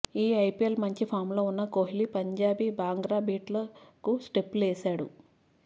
ఈ ఐపిఎల్లో మంచి ఫామ్లో ఉన్న కోహ్లీ పంజాబీ బాంగ్రా బీట్లకు స్టెప్పులేశాడు